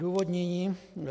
Odůvodnění.